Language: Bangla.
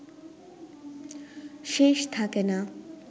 শেষ থাকে না